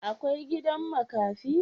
Akwai gidan makafi?